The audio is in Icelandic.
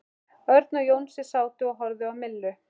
Örn og Jónsi sátu og horfðu á Millu.